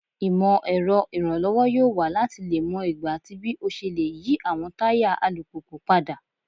Imọ-ẹrọ iranlọwọ yoo wa lati mọ igba ati bii o ṣe le yi awọn taya alupupu pada